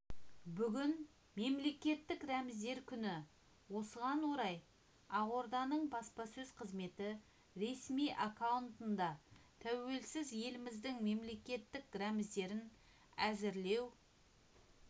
бүгін мемлекеттік рәміздер күні осыған орай ақорданың баспасөз қызметі ресми аккаунтында тәуелсіз еліміздің мемлекеттік рәміздерін әзірлеу